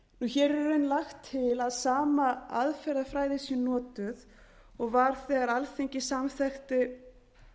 hér er í raun lagt til að sama aðferðafræði sé notuð og var þegar alþingi samþykkti